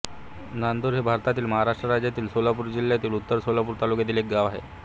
नांदुर हे भारतातील महाराष्ट्र राज्यातील सोलापूर जिल्ह्यातील उत्तर सोलापूर तालुक्यातील एक गाव आहे